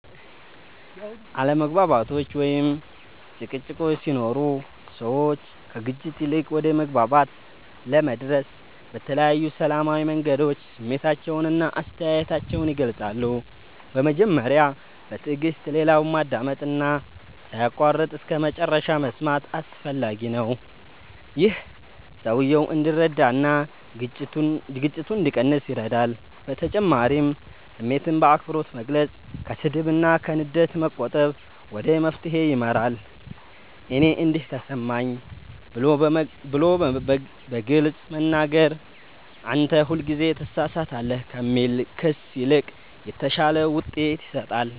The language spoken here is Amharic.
አለመግባባቶች ወይም ጭቅጭቆች ሲኖሩ ሰዎች ከግጭት ይልቅ ወደ መግባባት ለመድረስ በተለያዩ ሰላማዊ መንገዶች ስሜታቸውን እና አስተያየታቸውን ይገልጻሉ። በመጀመሪያ በትዕግስት ሌላውን ማዳመጥ እና ሳይቋረጥ እስከመጨረሻ መስማት አስፈላጊ ነው። ይህ ሰውየው እንዲረዳ እና ግጭቱ እንዲቀንስ ይረዳል በተጨማሪም ስሜትን በአክብሮት መግለጽ፣ ከስድብ እና ከንዴት መቆጠብ ወደ መፍትሄ ይመራል። “እኔ እንዲህ ተሰማኝ” ብሎ በግልጽ መናገር ከ “አንተ ሁልጊዜ ትሳሳታለህ” ከሚል ክስ ይልቅ የተሻለ ውጤት ይሰጣል።